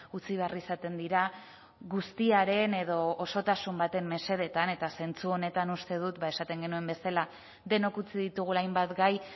utzi behar izaten dira guztiaren edo osotasun baten mesedetan eta zentzu honetan uste dut esaten genuen bezala denok utzi ditugula hainbat gai